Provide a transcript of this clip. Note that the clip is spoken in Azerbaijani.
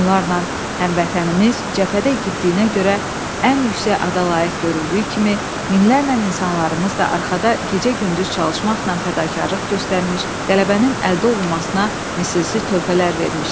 Onlarla həmvətənimiz cəbhədə igidliyinə görə ən yüksək ada layiq görüldüyü kimi, minlərlə insanlarımız da arxada gecə-gündüz çalışmaqla fədakarlıq göstərmiş, qələbənin əldə olunmasına misilsiz töhfələr vermişdi.